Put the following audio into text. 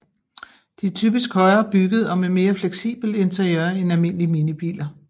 De er typisk højere bygget og med mere fleksibelt interiør end almindelige minibiler